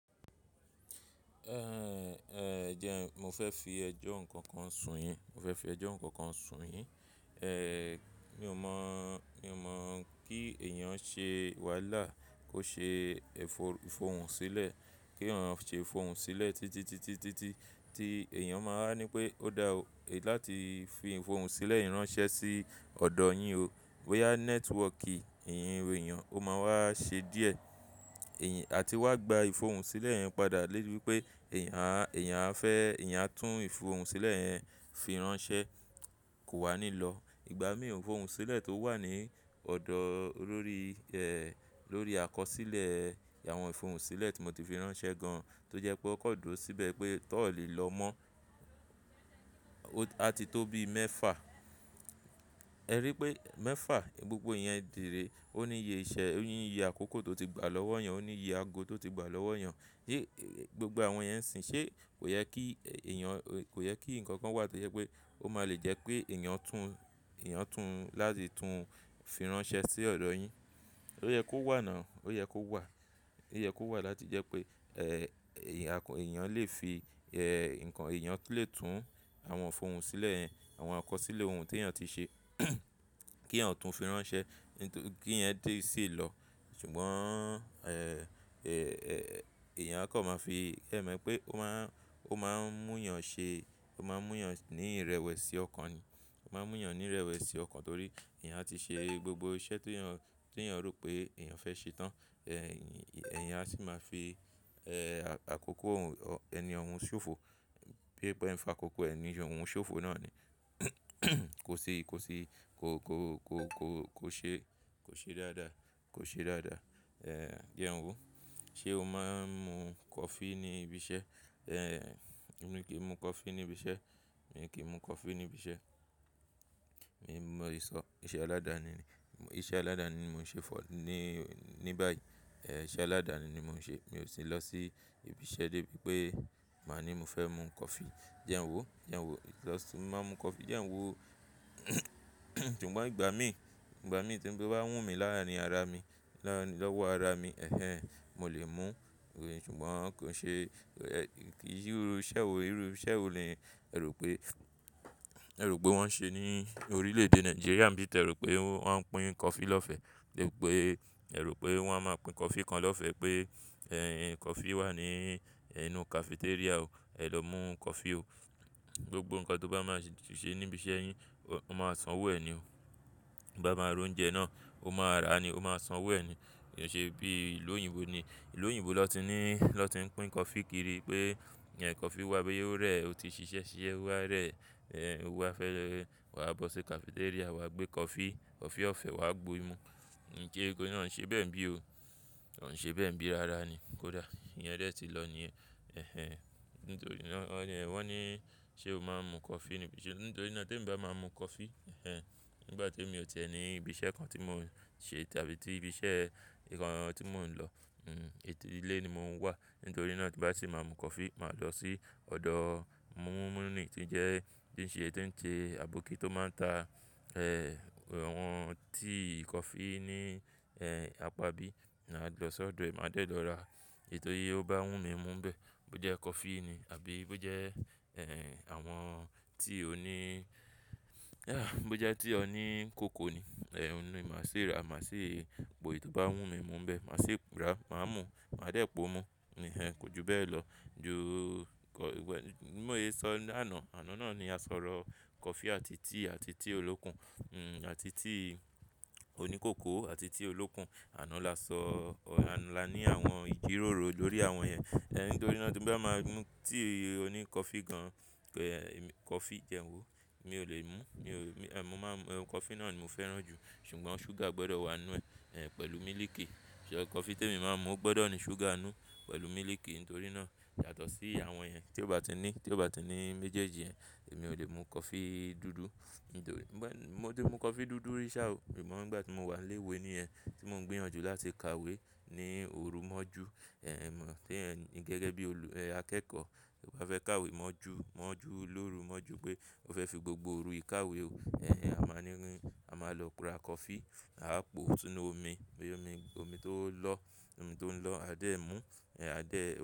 Ehn eh ejẹ́n mo fẹ́ fi ẹjọ́ nǹkan kan sùn yín, mo fẹ́ fi ẹjọ́ nǹkan kan sùn yín. Eh mi ò mọ̀, mi ò mọ̀ kí èèyàn ṣe wàhálà kó ṣe ẹ́fò-ìfòhùn sílẹ̀, kí èèyàn ṣe ìfòhùn sílẹ̀ títitítítí tí èèyàn máa ń ní pé ó dá o láti fi ìfòhùn sílẹ̀ yì ránṣẹ́ sí ọ̀dọ̀ yín o. Bóyá network ìhìnrere èèyàn ó máa wá ṣe díẹ̀. Ẹ̀yìn, àti wá gba ìfòhùn sílẹ̀ yẹn padà lébi pé èèyàn á, èèyàn á fẹ́, èèyàn tún ìfòhùn sílẹ̀ yẹn fi ránṣẹ́ kò wá nílọ̀. Ìgbà mí òún ìfòhùn sílẹ̀ tó wà ní ọ̀dọ̀ lórí, eh lórí àkọsílẹ̀ àwọn ìfòhùn sílẹ̀ tí mo ti fi ránṣẹ́ gan, tó jẹ́ pé ó kọ́dúró síbẹ̀ pé tó ò lè lọ mọ́. A ti tó bí mẹ́fà. Ẹ rí i pé mẹ́fà gbogbo yẹn dìré, ó ní iye iṣẹ́, ó ní iye àkókò tó ti gbà lọ́wọ́ èèyàn, ó ní iye ago tó ti gbà lọ́wọ́ èèyàn. Yé, gbogbo àwọn yẹn ń sìn. Ṣé kò yẹ kí èèyàn, kò yẹ kí nǹkan kan wà tó jẹ́ pé ó máa lè jẹ́ pé èèyàn tún, èèyàn tún láti tún fi ránṣẹ́ sí ọ̀dọ̀ yín? Ó yẹ kó wà ná. Ó yẹ kó wà. Ó yẹ kó wà láti jẹ́ pé eh èèyàn lè fi eh nǹkan èèyàn lè tún àwọn ìfòhùn sílẹ̀ yẹn, àwọn àkọsílẹ̀ ohun tí èèyàn ti ṣe kí èèyàn tún fi ránṣẹ́ kíyẹn lè sì lọ. Ṣùgbọ́n eh èèyàn kó máa fi, ẹ mọ̀ pé ó máa ń, ó máa ń mú èèyàn ṣe, ó máa ń mú èèyàn ní ìrẹ̀wẹ̀sì ọkàn ni. Ó máa ń mú èèyàn ní ìrẹ̀wẹ̀sì ọkàn torí èèyàn ti ṣe gbogbo iṣẹ́ tí èèyàn, tí èèyàn rò pé èèyàn fẹ́ ṣe tán. Eh èèyàn á sì máa fi eh àkókò ọ̀hún, ẹni ọ̀hún ṣòfò bí i pé ẹ ń fa àkókò ẹni ọ̀hún ṣòfò náà ni. Kò ṣi kò ṣi kò, kò, kò, kò ṣe, kò ṣe dáadáa, kò ṣe dáadáa. Eh jẹ́ n wo. Ṣé o máa ń mu coffee ní ibi iṣẹ́? Eh èmi kì í mu coffee ní ibi iṣẹ́. Èmi kì í mu coffee ní ibi iṣẹ́. Èmi ń mú èso iṣẹ́ aládani ni, iṣẹ́ aládani ni mò ń ṣe fọ ní, ní báyìí. Eh iṣẹ́ aládani ni mò ń ṣe. Mi ò sì ń lọ sí ibi iṣẹ́ débi pé màá ní mo fẹ́ mu coffee. Jẹ́ n wo, jẹ́ n wo lọ sí, màá mu coffee. Jẹ́ n wo ṣùgbọ́n ìgbà mí, ìgbà mí tí ń bá wù mí láàrín ara mi, lọ́wọ́ ara mi, ẹ́hẹ́n, mo lè mú. Ṣùgbọ́n kò ṣe, kì í ṣẹ́ ọ rí, ṣẹ́ ò le rí ẹ rò pé, ẹ rò pé wọ́n ṣe ní orílẹ̀-èdè Nàìjíríà ń bí tí ẹ rò pé wọ́n ń pín coffee lọ́fẹ̀ẹ́ lébi pé ẹ rò pé wọ́n á máa pín coffee kan lọ́fẹ̀ẹ́ pé eh coffee wà ní ẹ nú cafeteria o. Ẹ lọ mú coffee o. Gbogbo nǹkan tó bá máa ṣe níbi iṣẹ́ yín, ó máa san owó ẹ ni o. Bá máa ra oúnjẹ náà, ó máa ra ni, ó máa san owó ẹ ni. Kò ṣe bí i ìlú oyinbo ni. Ìlú oyinbo lọ́ ti ní, lọ́ ti ń pín coffee kiri pé coffee wà bí i ó rẹ̀ ó ti ṣiṣẹ́ ṣí i ẹ wá rẹ̀, eh wà á fẹ́ lọ wà á bọ́ sí cafeteria wà á gbé coffee, coffee ọ̀fẹ́ wà á gbe mú. Ǹ kí eégún náà ṣe bẹ́ẹ̀ bíi o. Wọn ń ṣe bẹ́ẹ̀ ń bíi rara ni. Kó dá. Ìyẹn dẹ̀ ti lọ ni yẹn ẹ̀hẹn. Nítorí náà wọ́n ní ṣé o máa ń mu coffee níbi iṣẹ́. Nítorí náà tó bá máa mu coffee, ẹh ẹ̀n bá tó èmi ò tẹ́ ẹ ní ibi iṣẹ́ kan tí mò ń ṣe tàbí tí ibi iṣẹ́ nǹkan tí mò ń lọ. Hmm ẹ́tì ilé ni mò ń wà. Nítorí náà tí bá sì máa mu coffee, màá lọ sí ọ̀dọ̀ múmú ní tí ń jẹ́ tí ń ṣe, tí ń ṣe àbókí tó máa ń ta eh àwọn tíì coffee ní eh apá bí, màá lọ sọ́dọ̀ ẹ́, màá dẹ́ẹ̀ lọ ra. Ètò yí ó bá wù mí mú bẹ́ẹ̀ bó jẹ́ coffee ni àbí bó jẹ́ eh àwọn tíì oní bó jẹ́ tíì oní kòkó ni. Eh mo ní màá ṣe ra, màá ṣe po èyí tó bá wù mí mú bẹ́ẹ̀. Màá ṣe ra, màá mú, màá dẹ́ẹ̀ pò mú. Nìyẹn kò ju bẹ́ẹ̀ lọ. Jú kọ́, wẹ́, mó ye sọ lánàá, àná náà ni a sọ̀rọ̀ coffee àti tíì àti tíì olókùn. Hmm àti tíì oní kòkó àti tíì olókùn. Àná la sọ, àná la ní àwọn ìjíròrò lórí àwọn yẹn. Eh nítorí náà tó bá máa mú tíì oní coffee gan, coffee jẹ́ n wo, mi ò lè mú. Mi ò lè, èmi máa ń mu, coffee náà ni mo fẹ́ràn jù. Ṣùgbọ́n ṣúgà gbọdọ̀ wà nínú ẹ̀ pẹ̀lú mílìkì. Ṣé coffee tí èmi máa ń mú ó gbọdọ̀ ní ṣúgà nínú pẹ̀lú mílìkì nítorí náà. Yàtọ̀ sí àwọn ẹ́hìn tí ó bá ti ní, tí ó bá ti ní méjèèjì yẹn èmi ò lè mu coffee dúdú. Nítorí bá, mo ti mu coffee dúdú rí ṣà o. Ṣùgbọ́n nígbà tí mò ń wà léwe níyẹn tí mò ń gbéyànjú láti ka ìwé ní òru mọ́jú. Ẹ̀hẹn mo mọ̀ pé ẹ̀ nì gẹ́gẹ́ bí olù, ẹ́hìn akẹ́kọ̀ọ́ tó bá fẹ́ ka ìwé mọ́jú, mọ́jú lóru mọ́jú pé ó fẹ́ fi gbogbo òru ìkáwe ò. Ẹ̀hẹn a máa ní rin, a máa lọ ra coffee, àá pò ó túnú omi, oyún omi, omi tó ń lọ, omi tó ń lọ, a dẹ̀ mú, a dẹ̀ ò.